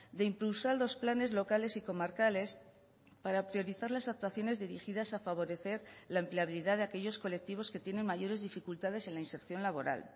de impulsar los planes locales y comarcales para priorizar las actuaciones dirigidas a favorecer la empleabilidad de aquellos colectivos que tienen mayores dificultades en la inserción laboral